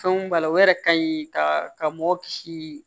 Fɛnw b'a la o yɛrɛ ka ɲi ka mɔgɔ kisi